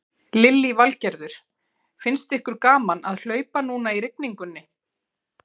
Lillý Valgerður: Finnst ykkur gaman að hlaupa núna í rigningunni?